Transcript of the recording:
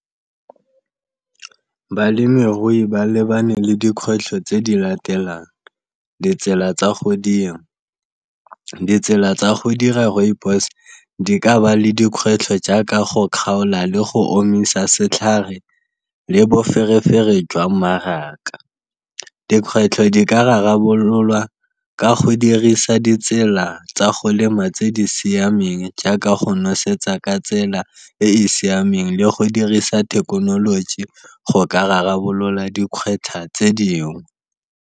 Balemirui ba lebane le dikgwetlho tse di latelang, ditsela tsa go dira, ditsela tsa go dira rooibos di ka ba le dikgwetlho jaaka go kgaola le go omisa setlhare le boferefere jwa mmaraka. Dikgwetlho di ka rarabololwa ka go dirisa ditsela tsa go lema tse di siameng jaaka go nosetsa ka tsela e e siameng, le go dirisa thekenoloji go ka rarabolola dikgwetlha tse dingwe.